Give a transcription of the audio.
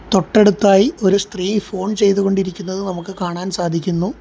തൊട്ടടുത്തായി ഒരു സ്ത്രീ ഫോൺ ചെയ്ത് കൊണ്ടിരിക്കുന്നത് നമുക്ക് കാണാൻ സാധിക്കുന്നു.